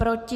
Proti?